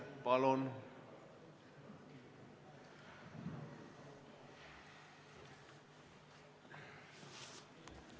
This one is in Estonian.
Palun!